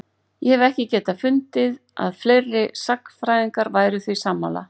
ég hef ekki getað fundið að fleiri sagnfræðingar væru því sammála